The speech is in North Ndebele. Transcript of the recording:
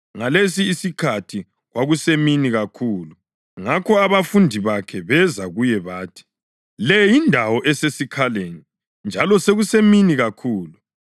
Ngalesi isikhathi kwasekusemini kakhulu, ngakho abafundi bakhe beza kuye bathi, “Le yindawo esesikhaleni, njalo sekusemini kakhulu.